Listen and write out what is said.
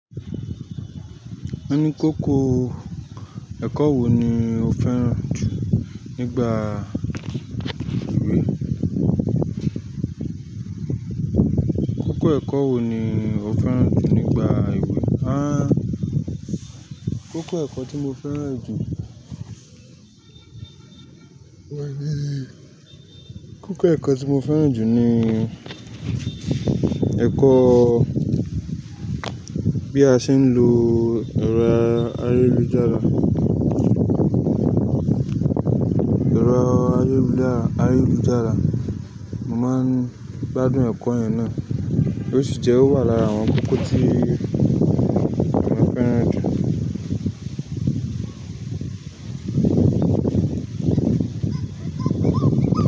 Wọ́n ní kókó ẹ̀kọ́ wo ni o fẹ́ràn jù nígbà ìwé? Kókó ẹ̀kọ́ wo ni o fẹ́ràn jù nígbà ìwé? Ha! Kókó nnkan tí mo fẹ́ràn jù, wọ̀ bií. Kókó ẹ̀kọ́ tí mo fẹ́ràn jù ni ẹ̀kọ́ bí a ṣe ń lo ẹ̀rọ ayélujára. Ẹ̀rọ ayélujára, mo máa ń gbádùn ẹ̀kọ́ yẹn náà, ó sì jẹ́ ó wà lára àwọn kókó tí mo fẹ́ràn jù.